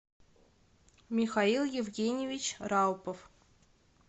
михаил евгеньевич раупов